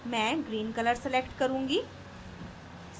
मैं green colour select करुँगी